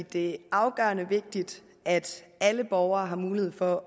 det afgørende vigtigt at alle borgere har mulighed for